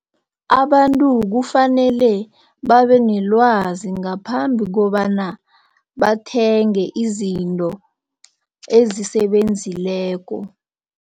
Abantu kufanele babenelwazi ngaphambi kobana bathenge izinto ezisebenzileko.